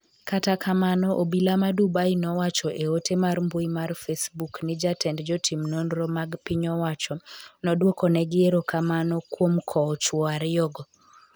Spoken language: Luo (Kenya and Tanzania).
kata kamano obila ma Dubai nowacho e ote mar mbui mar Facebook ni jatend jotim nonro mag piny owacho nodwokonegi erokamano kuom kowo chuwo ariyogo